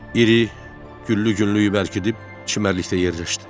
İri güllü günlüyü bərkidib çimərlikdə yerləşdi.